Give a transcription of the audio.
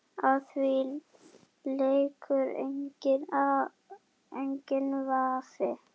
Á því leikur enginn vafi.